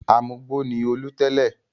Amugbó ni Olú tẹ́lẹ̀.